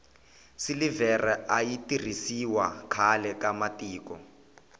silivhere ayi tirhisiwa khlae ka matiko